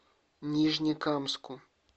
нижнекамску